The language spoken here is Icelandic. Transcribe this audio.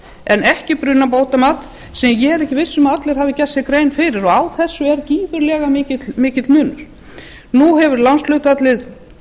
en ekki brunabótamat sem ég er ekki viss um að allir hafi gert sér grein fyrir á þessu er gífurlega mikill munur nú hefur lánshlutfallið